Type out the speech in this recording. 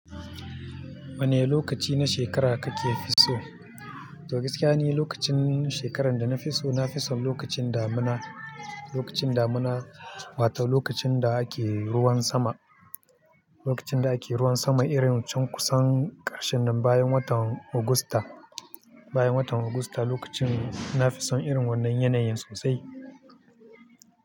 Wane lokaci na shekara kake fi so? To gaskiya ni, lokacin shekarar da na fi so na fi son lokacin damuna, lokacin damuna wato lokacin da ake ruwan sama, lokacin da ake ruwan sama irin can kusan ƙarshen nan bayan watan Agusta, bayan watan Agusta lokacin na fi son irin wannan yanayin sosai.